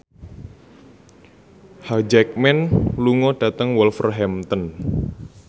Hugh Jackman lunga dhateng Wolverhampton